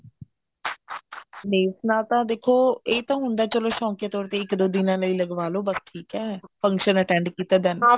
nails ਨਾਲ ਤਾਂ ਦੇਖੋ ਇਹ ਤਾਂ ਹੁੰਦਾ ਚਲੋ ਸ਼ੋੰਕਿਆ ਤੋਰ ਤੇ ਇੱਕ ਦੋ ਦਿਨਾ ਲਈ ਲਗਵਾਲੋ ਬੱਸ ਠੀਕ ਐ function attend ਕੀਤਾ then